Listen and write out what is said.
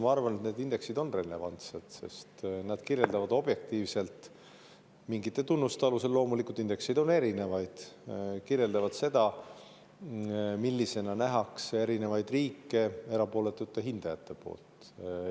Ma arvan, et need indeksid on relevantsed, sest nad kirjeldavad objektiivselt mingite tunnuste alusel – loomulikult, indekseid on erinevaid – seda, millisena nähakse erinevaid riike erapooletute hindajate poolt.